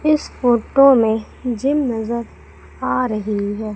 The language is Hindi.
इस फोटो में जिम नजर आ रही है।